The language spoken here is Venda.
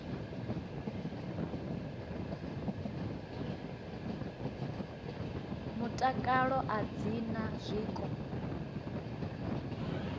mutakalo a dzi na zwiko